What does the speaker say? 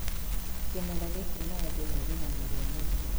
Kĩmera gĩkĩ maembe marĩ na mũrio mũno.